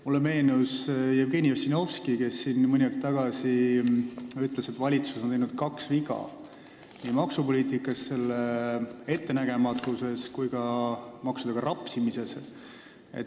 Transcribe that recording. Mulle meenus Jevgeni Ossinovski, kes siin mõni aeg tagasi ütles, et valitsus on teinud kaks viga, nimelt maksupoliitika ettenägematuse mõttes ja ka maksudega rapsimisel.